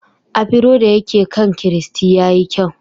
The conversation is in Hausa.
Afro da yake kan Christy ya yi kyau.